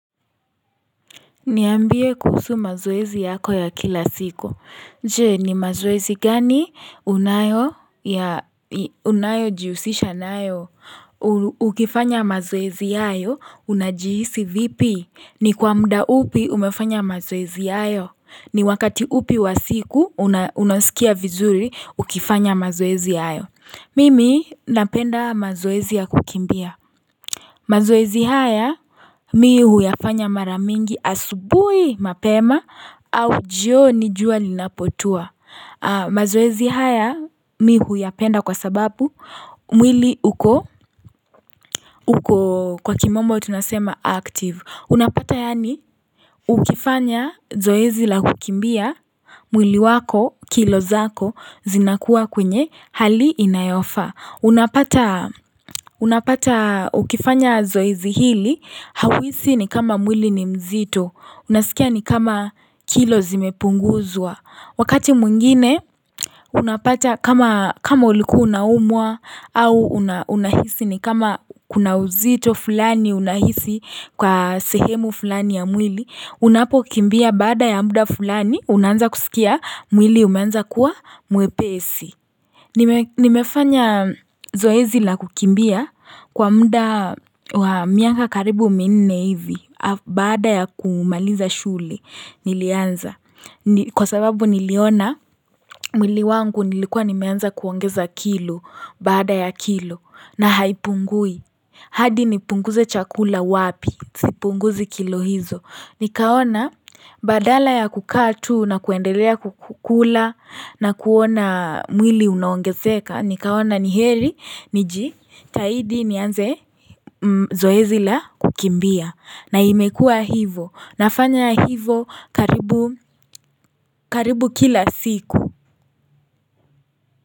Niambie kuhusu mazoezi yako ya kila siku. Je, ni mazoezi gani unayo jihusisha nayo? Ukifanya mazoezi hayo, unajihisi vipi? Ni kwa mda upi umefanya mazoezi hayo. Ni wakati upi wa siku, unasikia vizuri, ukifanya mazoezi hayo. Mimi, napenda mazoezi ya kukimbia. Mazoezi haya mi huyafanya maramingi asubuhi mapema au jioni jua linapotua. Mazoezi haya mi huyapenda kwa sababu mwili uko kwa kimombo tunasema active. Unapata yani ukifanya zoezi la kukimbia, mwili wako, kilo zako, zinakuwa kwenye hali inayofaa. Unapata ukifanya zoezi hili, hauhisi ni kama mwili ni mzito, unasikia ni kama kilo zimepunguzwa. Wakati mwingine unapacha kama uliku ua unaumwa au unahisi ni kama kuna uzito fulani unahisi kwa sehemu fulani ya mwili Unapo kimbia baada ya mda fulani unanza kusikia mwili umanza kuwa mwepesi nimefanya zoezi la kukimbia kwa mda wa miaka karibu minne hivi baada ya kumaliza shule nilianza Kwa sababu niliona mwili wangu nilikuwa nimeanza kuongeza kilo baada ya kilo na haipungui hadi nipunguze chakula wapi, sipunguzi kilo hizo Nikaona badala ya kukaa tu na kuendelea kukula na kuona mwili unongezeka Nikaona niheri, nijitahidi nianze zoezila kukimbia na imekua hivo, nafanya hivo karibu kila siku.